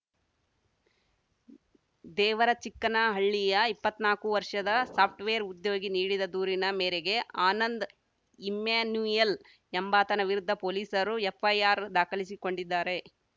ದೇವರಚಿಕ್ಕನಹಳ್ಳಿಯ ಇಪ್ಪತ್ನಾಲ್ಕು ವರ್ಷದ ಸಾಫ್ಟ್‌ವೇರ್‌ ಉದ್ಯೋಗಿ ನೀಡಿದ ದೂರಿನ ಮೇರೆಗೆ ಆನಂದ್‌ ಇಮ್ಯಾನ್ಯೂಯಲ್‌ ಎಂಬಾತನ ವಿರುದ್ಧ ಪೊಲೀಸರು ಎಫ್‌ಐಆರ್‌ ದಾಖಲಿಸಿಕೊಂಡಿದ್ದಾರೆ